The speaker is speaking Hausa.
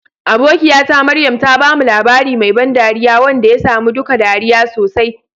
Abokiyata Maryam ta bamu labari mai ban dariya wanda ya sa mu duka ɗariya sosai.